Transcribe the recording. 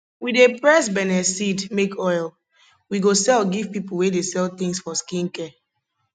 we dey press benne seed make oil we go sell give people wey dey sell things for skin care